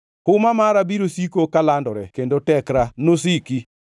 Huma mara biro siko kalandore kendo tekra nosiki!’